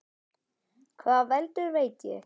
Hvað veldur, veit ég ekki.